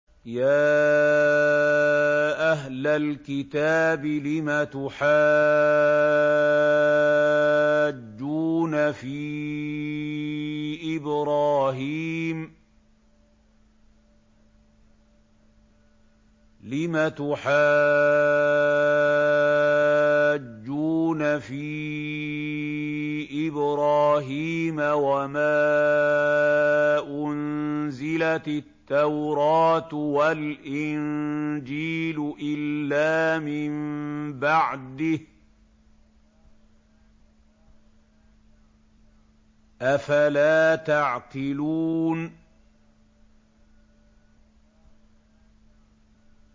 يَا أَهْلَ الْكِتَابِ لِمَ تُحَاجُّونَ فِي إِبْرَاهِيمَ وَمَا أُنزِلَتِ التَّوْرَاةُ وَالْإِنجِيلُ إِلَّا مِن بَعْدِهِ ۚ أَفَلَا تَعْقِلُونَ